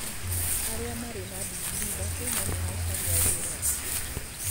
Arĩa Marĩ na ndingirii ithatũ no maracaria wĩra